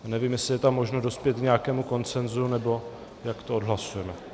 Nevím, jestli je tam možno dospět k nějakému konsenzu nebo jak to odhlasujeme.